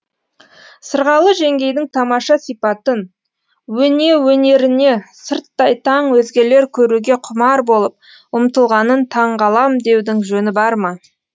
сырғалы жеңгейдің тамаша сипатын өнеріне сырттай таң өзгелер көруге құмар болып ұмтылғанын таңғалам деудің жөні бар ма